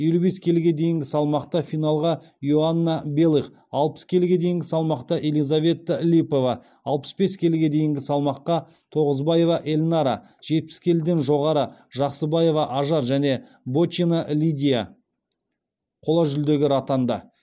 елу бес келіге дейінгі салмақта финалға иоанна белых алпыс келіге дейінгі салмақта елизавета липова алпыс бес келіге дейінгі тоғызбаева эльнара жетпіс келіден жоғары жақсыбаева ажар және бочина лидия қола жүлдегер атанды